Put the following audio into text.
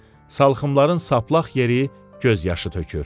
salxımların saplaq yeri göz yaşı tökür.